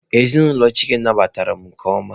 Ezinụlọ Chike nabatara m nke ọma.